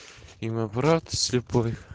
и мой брат слепой